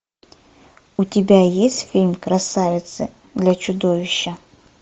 у тебя есть фильм красавица для чудовища